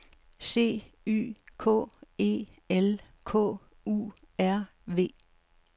C Y K E L K U R V